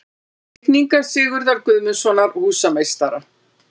Teikningar Sigurðar Guðmundssonar, húsameistara.